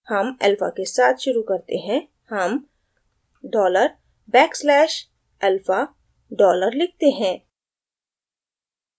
हम अल्फ़ा के साथ शुरू करते हैं हम dollar back slash alpha dollar लिखते हैं